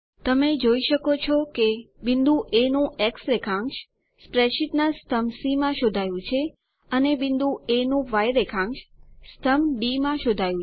તમે જોઈ શકો છો કે બિંદુ એ નું એક્સ રેખાંશ સ્પ્રેડશીટના સ્તંભ સી માં શોધાયું છે અને બિંદુ એ નું ય રેખાંશ સ્તંભ ડી માં શોધાયું છે